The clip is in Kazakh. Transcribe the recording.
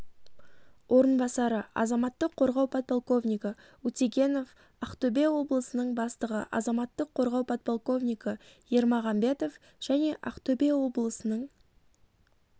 орынбасары азаматтық қорғау полковнигі утегенов ақтөбе облысының бастығы азаматтық қорғау полковнигі ермагамбетов және ақтөбе облысының